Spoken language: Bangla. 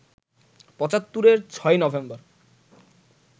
পঁচাত্তরের ৬ই নভেম্বর